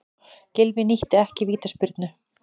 Gylfi nýtti ekki vítaspyrnu